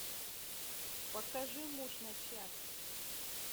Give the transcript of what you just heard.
покажи муж на час